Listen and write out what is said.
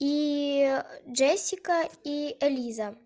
и ээ джессика и элиза